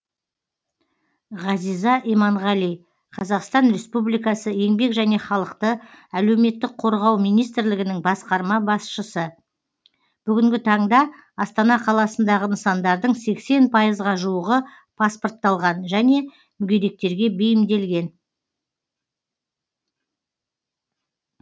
ғазиза иманғали қазақстан республикасы еңбек және халықты әлеуметтік қорғау министрлігінің басқарма басшысы бүгінгі таңда астана қаласындағы нысандардың сексен пайызға жуығы паспортталған және мүгедектерге бейімделген